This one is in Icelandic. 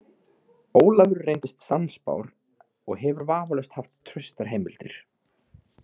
Ólafur reyndist sannspár og hefur vafalaust haft traustar heimildir.